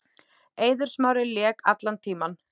Eiður Smári lék allan tímann.